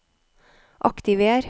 aktiver